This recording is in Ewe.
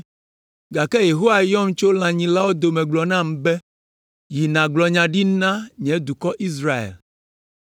gake Yehowa yɔm tso lãnyilawo dome gblɔ nam be, ‘Yi nàgblɔ nya ɖi na nye dukɔ Israel.’